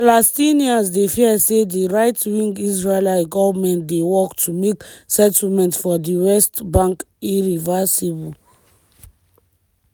palestinians dey fear say di right-wing israeli goment dey work to make settlements for di west bank irreversible.